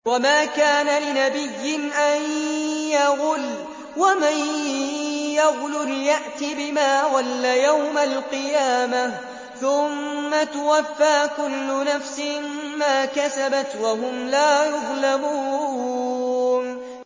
وَمَا كَانَ لِنَبِيٍّ أَن يَغُلَّ ۚ وَمَن يَغْلُلْ يَأْتِ بِمَا غَلَّ يَوْمَ الْقِيَامَةِ ۚ ثُمَّ تُوَفَّىٰ كُلُّ نَفْسٍ مَّا كَسَبَتْ وَهُمْ لَا يُظْلَمُونَ